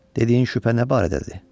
Dediyin şübhə nə barədədir?